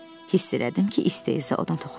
Hiss elədim ki, isteza ona toxundu.